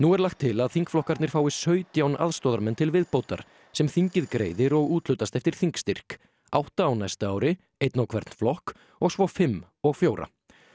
er lagt til að þingflokkarnir fái sautján aðstoðarmenn til viðbótar sem þingið greiðir og úthlutist eftir þingstyrk átta á næsta ári einn á hvern flokk og svo fimm og fjóra